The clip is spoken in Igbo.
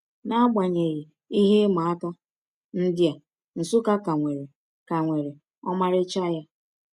N’agbanyeghị ihe ịma aka ndị a, Nsukka ka nwere ka nwere ọmarịcha ya.